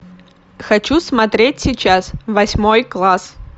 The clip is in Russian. хочу смотреть сейчас восьмой класс